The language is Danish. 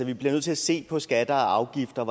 vi bliver nødt til at se på skatter og afgifter og